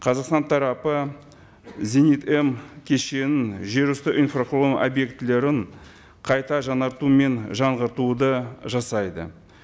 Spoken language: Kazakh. қазақстан тарапы зенит м кешенін жер үсті инфрақұрылым объектілерін қайта жаңарту мен жаңғыртуды жасайды